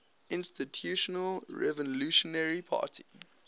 institutional revolutionary party